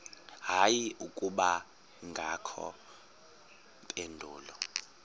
hayi akubangakho mpendulo